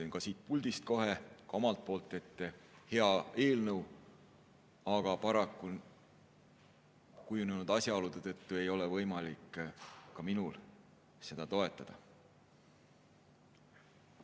Ütlen siit puldist kohe ka omalt poolt, et see on hea eelnõu, aga paraku ei ole kujunenud asjaolude tõttu ka minul võimalik seda toetada.